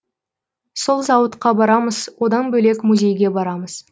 сол зауытқа барамыз одан бөлек музейге барамыз